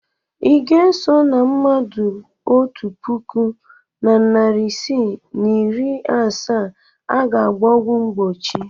Ị ga-eso na mmadụ otu puku na narị isii na iri asaa a ga-agba ọgwụ mgbochi?